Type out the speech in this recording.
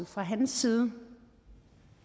fra hans side